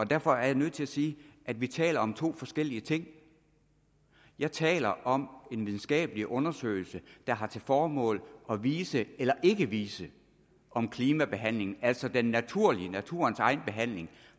derfor er jeg nødt til at sige at vi taler om to forskellige ting jeg taler om en videnskabelig undersøgelse der har til formål at vise eller ikke vise om klimabehandlingen altså den naturlige naturens egen behandling